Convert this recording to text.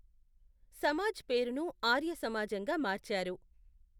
సమాజ్ పేరును ఆర్య సమాజంగా మార్చారు.